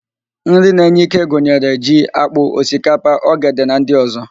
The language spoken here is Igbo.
Nri na-enye íké gunyere: ji, ákpụ́, osikapa, ogede na ndị ọ̀zọ́.